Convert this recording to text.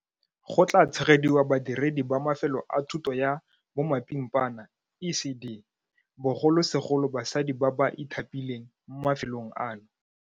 Go tla tshegediwa badiredi ba mafelo a thuto ya bomapimpana ECD. Bogolosegolo basadi ba ba ithapileng mo mafelong ano.